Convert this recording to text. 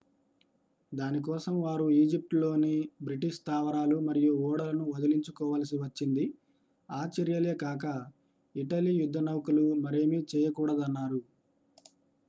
దాని కోసం వారు ఈజిప్టులోని బ్రిటిష్ స్థావరాలు మరియు ఓడలను వదిలించుకోవలసి వచ్చింది ఆ చర్యలే కాక ఇటలీ యుద్ధనౌకలు మరేమీ చేయకూడదన్నారు